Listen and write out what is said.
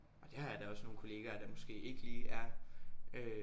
Og det har jeg da også nogle kollegaer der måske ikke lige er øh